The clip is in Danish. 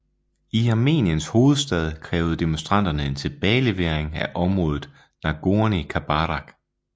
I Armeniens hovedstad krævede demonstranterne en tilbagelevering af området Nagornij Karabakh